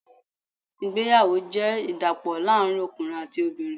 Ìgbéyàwó jẹ́ ìdàpọ̀ láàrín ọkùnrin àti obìnrin.